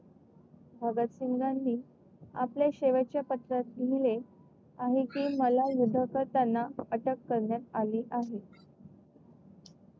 भगत सिंघानी आपल्या शेवटच्या पत्रात लिहिले आहे कि मला युद्ध करताना अटक करण्यात आले आहे.